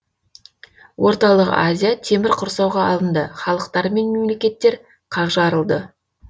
орталық азия темір құрсауға алынды халықтар мен мемлекеттер қақ жарылды